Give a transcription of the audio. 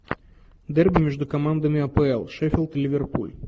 дерби между командами апл шеффилд ливерпуль